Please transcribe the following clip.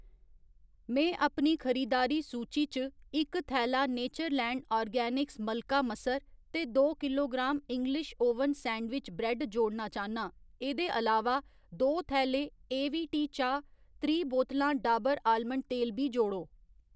में अपनी खरीदारी सूची च इक थैला नेचरलैंड आर्गेनिक्स मलका मसर ते दो kilogram English oven sandwich bread जोड़ना चाह्न्नां। एह्‌दे अलावा, दो थैले ए वी टी चाह्, त्रीह् बोतलां डाबर आलमंड तेल बी जोड़ो।